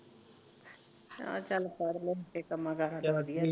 ਆਹੋ ਸਾਰੇ ਰਲਮਿਲ ਕੇ ਕੰਮ ਕਾਰਾਂ